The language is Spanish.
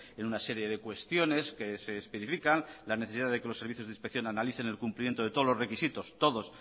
en una serie de cuestiones que se especifican las necesidades que los servicios de inspección analicen el cumplimiento de todos los requisitos todos